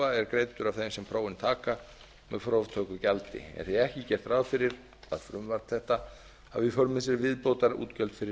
prófa er greiddur af þeim sem prófin taka með próftökugjaldi er því ekki gert ráð fyrir að frumvarp þetta hafi í för með sér viðbótarútgjöld fyrir